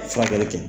Furakɛli kɛ